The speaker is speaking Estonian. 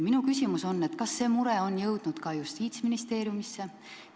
Minu küsimus on: kas see mure on jõudnud ka Justiitsministeeriumisse?